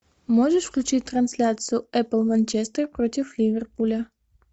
можешь включить трансляцию апл манчестер против ливерпуля